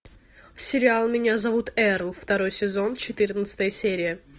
сериал меня зовут эрл второй сезон четырнадцатая серия